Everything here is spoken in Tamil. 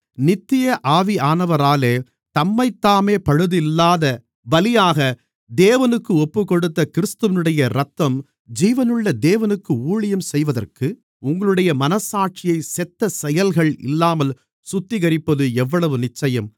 நித்திய ஆவியானவராலே தம்மைத்தாமே பழுதில்லாத பலியாக தேவனுக்கு ஒப்புக்கொடுத்த கிறிஸ்துவினுடைய இரத்தம் ஜீவனுள்ள தேவனுக்கு ஊழியம் செய்வதற்கு உங்களுடைய மனச்சாட்சியைச் செத்த செயல்கள் இல்லாமல் சுத்திகரிப்பது எவ்வளவு நிச்சயம்